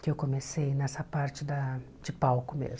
que eu comecei nessa parte da de palco mesmo.